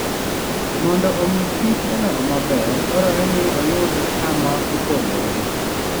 Mondo omi kichodong maber, dwarore ni oyud kama opogore.